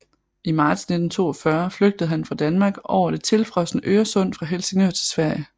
I marts 1942 flygtede han fra Danmark over det tilfrosne Øresund fra Helsingør til Sverige